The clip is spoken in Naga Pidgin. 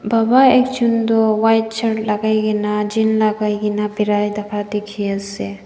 baba ekjon toh white shirt lakai kaena jean lakai kae na birai thaka dikhipaiase.